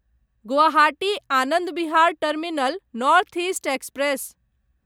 Guwahati Anand Vihar terminal north east express